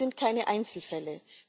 Es sind keine Einzelfälle.